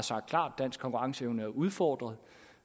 dansk konkurrenceevne er udfordret